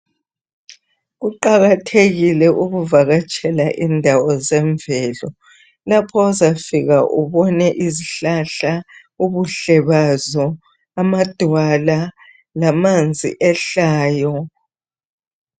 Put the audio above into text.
Kuqakathekile ukuvakatshela indawo zemvelo lapho ozafika ubone izihlahla ubuhle bazo amadwala lamanzi ehlayo.